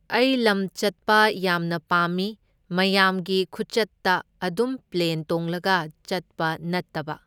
ꯑꯩ ꯂꯝ ꯆꯠꯄ ꯌꯥꯝꯅ ꯄꯥꯝꯃꯤ꯫ ꯃꯌꯥꯝꯒꯤ ꯈꯨꯆꯠꯇ ꯑꯗꯨꯝ ꯄ꯭ꯂꯦꯟ ꯇꯣꯡꯂꯒ ꯆꯠꯄ ꯅꯠꯇꯕ꯫